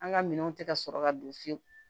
An ka minɛnw tɛ ka sɔrɔ ka don fiyewu